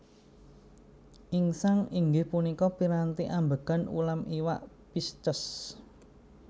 Insang inggih punika piranti ambegan ulam iwak Pisces